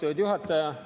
Austatud juhataja!